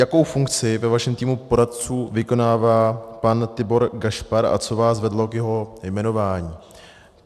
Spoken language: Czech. Jakou funkci ve vašem týmu poradců vykonává pan Tibor Gašpar a co vás vedlo k jeho jmenování?